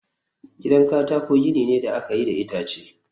gidan katako gini ne da aka yi da itace